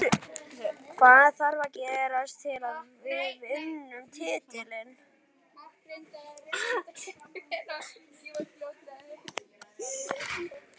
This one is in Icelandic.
Hvað þarf að gerast til að við vinnum titilinn?